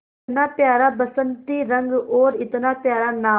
इतना प्यारा बसंती रंग और इतना प्यारा नाम